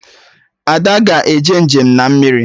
Ada ga-eje njem na mmiri